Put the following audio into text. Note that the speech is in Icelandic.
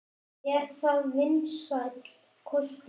Er það vinsæll kostur?